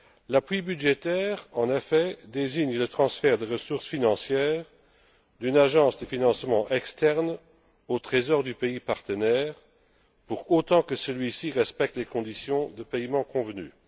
L'appui budgétaire, en effet, désigne le transfert de ressources financières d'une agence de financement externe au Trésor du pays partenaire, pour autant que celui ci respecte les conditions de paiement convenues.